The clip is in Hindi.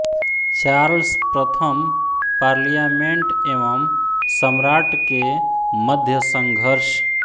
चार्ल्स प्रथम पार्लियामेण्ट एवं सम्राट् के मध्य संघर्ष